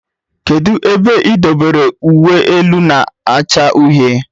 Kedụ ebe idobere uwe elu na-acha uhie?